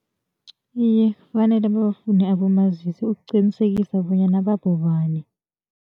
Iye, kufanele babafune abomazisi ukuqinisekisa bonyana babobani.